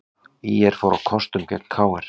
ÍR fór á kostum gegn KR